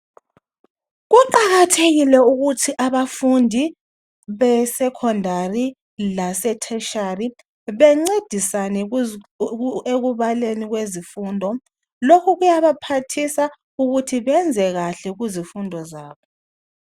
Kuqakathekile ukuthi abafundi besecondary lasetertiary bencedisane ekubaleni kwezifundo lokhu kuyabaphathisa ukuthi benzekakhe kuzifundo zabo